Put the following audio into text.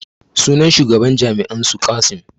Sunan shugaban jami'an su Qassim